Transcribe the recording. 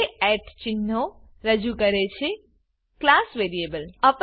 બે ચિહ્નો રજૂ કરે છે ક્લાસ વેરિયેબલ